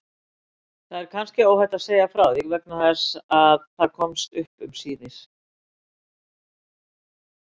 Það er kannski óhætt að segja frá því vegna þess að það komst upp síðar.